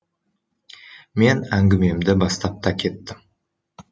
мен әңгімемді бастап та кеттім